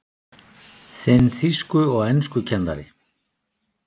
Þinn þýsku- og enskukennari